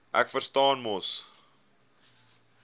ek verstaan mos